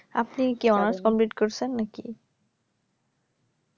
আপনি কি honours complete করেছেন নাকি